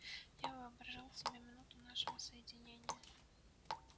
я воображал себе минуту нашего соединения